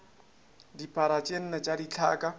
dipara tše nne tša dithaka